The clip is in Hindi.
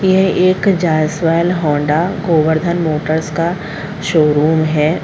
यह एक जायसवाल होंडा गोवर्धन मोटर्स का शोरूम है।